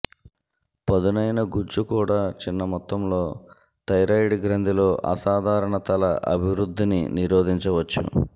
పదునైన గుజ్జు కూడా చిన్న మొత్తంలో థైరాయిడ్ గ్రంధిలో అసాధారణతల అభివృద్ధిని నిరోధించవచ్చు